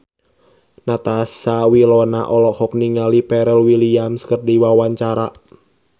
Natasha Wilona olohok ningali Pharrell Williams keur diwawancara